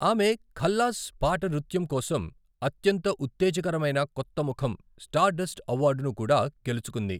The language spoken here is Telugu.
ఆమె 'ఖల్లాస్' పాట నృత్యం కోసం అత్యంత ఉత్తేజకరమైన కొత్త ముఖం స్టార్డస్ట్ అవార్డును కూడా గెలుచుకుంది.